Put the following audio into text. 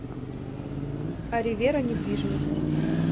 аревера недвижимость